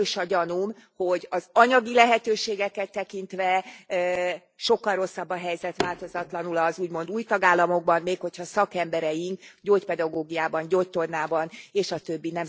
Erős a gyanúm, hogy az anyagi lehetőségeket tekintve sokkal rosszabb a helyzet változatlanul az úgymond új tagállamokban, még ha szakemberei gyógypedagógiában, gyógytornában stb.